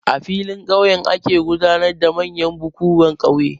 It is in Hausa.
A filin ƙauye ake gudanar da manyan bukuwan ƙauye.